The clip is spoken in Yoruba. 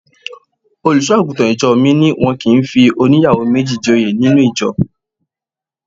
Olùṣọ́-àgùntàn ìjọ mi ní wọn kì í fi óníyàwó méjì joyè nínú ìjọ.